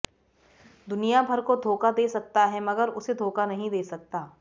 दुनिया भर को धोखा दे सकता है मगर उसे धोखा नहीं दे सकता